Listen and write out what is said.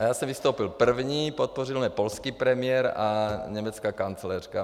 A já jsem vystoupil první, podpořil mě polský premiér a německá kancléřka.